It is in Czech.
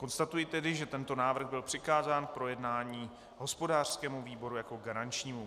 Konstatuji tedy, že tento návrh byl přikázán k projednání hospodářskému výboru jako garančnímu.